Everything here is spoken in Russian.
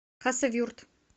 хасавюрт